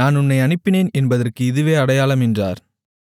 நான் உன்னை அனுப்பினேன் என்பதற்கு இதுவே அடையாளம் என்றார்